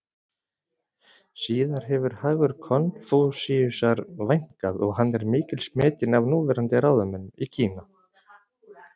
Síðar hefur hagur Konfúsíusar vænkað og hann er mikils metinn af núverandi ráðamönnum í Kína.